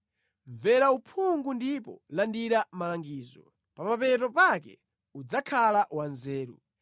Mvera uphungu ndipo landira malangizo; pa mapeto pake udzakhala wanzeru.